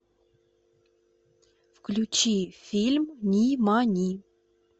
включи фильм нимани